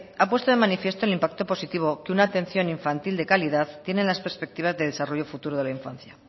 ha puesto de manifiesto el impacto positivo que una atención infantil de calidad tiene en las perspectivas de desarrollo de futuro de la infancia